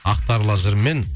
ақтарлы жырмен